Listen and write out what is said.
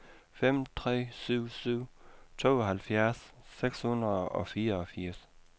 fem tre syv syv tooghalvfjerds seks hundrede og fireogfirs